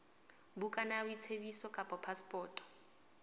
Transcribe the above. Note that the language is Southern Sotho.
bukana ya boitsebiso kapa phasepoto